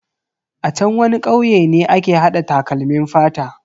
A chan wani kauye ne ake hada takalmin fata.